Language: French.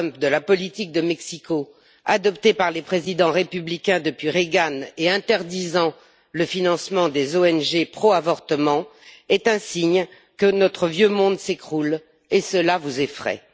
Trump de la politique de Mexico adoptée par les présidents républicains depuis Reagan et interdisant le financement des ONG pro avortement est un signe que notre vieux monde s'écroule et cela vous effraie.